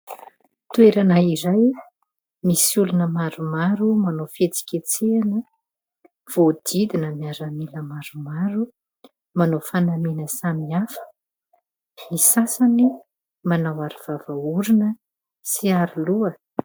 Toerana iray. Misy olona maromaro manao fihetsiketsehana voahodidina miaramila maromaro. Manao fanamiana samihafa, ny sasany manao aro vava orona sy aroloha.